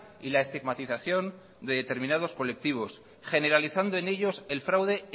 y la estigmatización de determinados colectivos generalizando en ellos el fraude